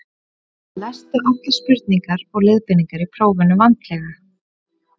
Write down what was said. Lestu allar spurningar og leiðbeiningar í prófinu vandlega.